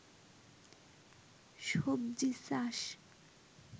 সবজি চাষ